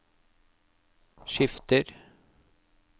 skifter